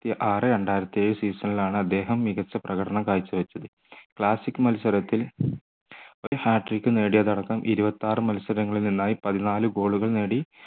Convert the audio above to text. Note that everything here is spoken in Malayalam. ആർ രണ്ടായിരത്തി ഏഴ് season ലാണ് അദ്ദേഹം മികച്ച പ്രകടന കാഴ്ചവച്ചത് classic മത്സരത്തിൽ ഒരു hat trick നേടിയത് അടക്കം ഇരുപത്തിയാറ് മത്സരങ്ങളിൽ നിന്നായി പതിനാല് goal കൾ നേടി